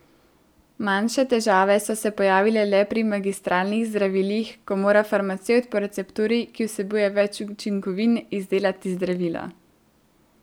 Manjše težave so se pojavile le pri magistralnih zdravilih, ko mora farmacevt po recepturi, ki vsebuje več učinkovin, izdelati zdravilo.